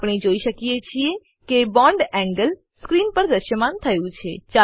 આપણે જોઈ શકીએ છીએ કે bond એન્ગલ સ્ક્રીન પર દ્રશ્યમાન થયું છે